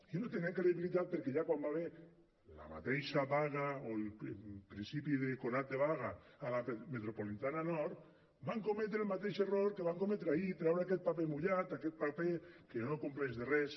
i no tenen credibilitat perquè ja quan hi va haver la mateixa vaga o el principi de conat de vaga a la metropolitana nord van cometre el mateix error que van cometre ahir treure aquest paper mullat aquest paper que no compleix de res